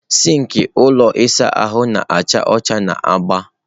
sink ụlọ ịsa ahụ na-acha ọcha na agba.